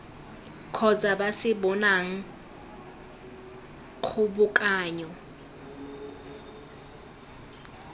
kgotsa ba se bonang kgobokanyo